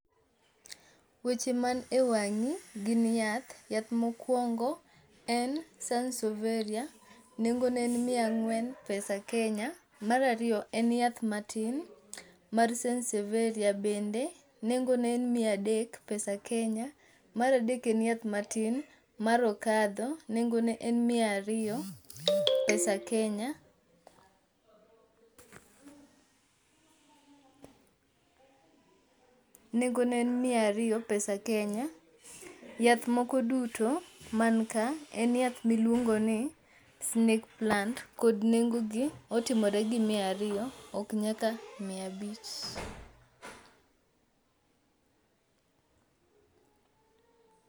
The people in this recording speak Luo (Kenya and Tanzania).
Weche man e wang'i, gin yath ,yath mokwongo en sansoveria, nengone en miya ang'wen pesa kenya, mar ariyo en yath matin mar sansoveria bende, nengone en miya adek pesa Kenya. Mar adek en yath matin mar okadho, nengone en miya ariyo pesa kenya. yath moko duto man ka en yath miluongo ni snake plant, kod nengogi otimore gi miya ariyo ok nyaka miya abich.